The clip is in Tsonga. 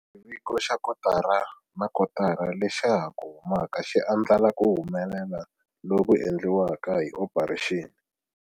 Xiviko xa kotara na kotara lexa ha ku humaka xi andlala ku humelela loku endliweke hi Operation.